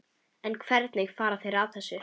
En hvernig fara þeir að þessu?